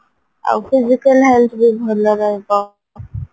ଆଉ physical health ବି ଭଲ ରହିବ